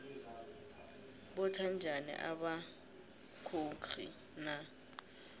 botha njani amakhoxi na